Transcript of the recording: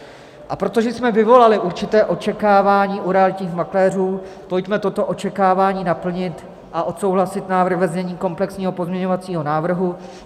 A protože jsme vyvolali určité očekávání u realitních makléřů, pojďme toto očekávání naplnit a odsouhlasit návrh ve znění komplexního pozměňovacího návrhu.